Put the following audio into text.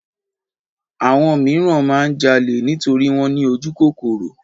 Àwọn míràn máa ń jalè nítorí wọ́n ní ojúkòkòrò.